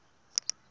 xi pfa xi va na